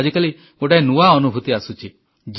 କିନ୍ତୁ ଆଜିକାଲି ଗୋଟିଏ ନୂଆ ଅନୁଭୂତି ଆସୁଛି